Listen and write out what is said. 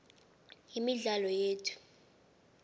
imidlalo yethu